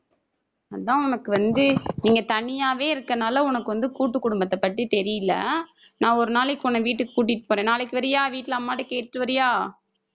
அதான் உனக்கு வந்து நீங்க தனியாவே இருக்கனால வந்து கூட்டு குடும்பத்தை பத்தி தெரியல. நான் ஒரு நாளைக்கு உன்னை வீட்டுக்கு கூட்டிட்டு போறேன். நாளைக்கு வர்றியா வீட்ல அம்மா கிட்ட கேட்டுட்டு வர்றியா